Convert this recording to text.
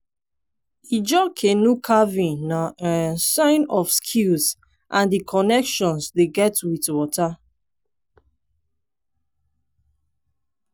ijaw canoe carving na um sign of skill and di connection dem get wit water.